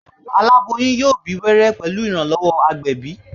Aláboyún yóò bí wẹ́rẹ́ pẹ̀lú ìrànlọ́wọ́ agbẹ̀bí